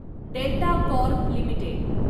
delta Corp limited